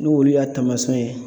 N'olu y'a taamasiyɛn ye